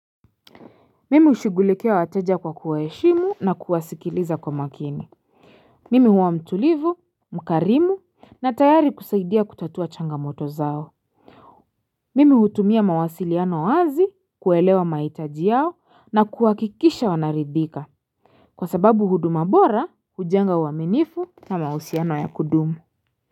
Mimi hushughulikia wateja kwa kuwaheshimu na kuwasikiliza kwa makini Mimi huwa mtulivu mkarimu na tayari kusaidia kutatua changamoto zao Mimi hutumia mawasiliano wazi kuelewa mahitaji yao na kuwakikisha wanaridhika Kwa sababu huduma bora hujenga uaminifu na mahusiano ya kudumu.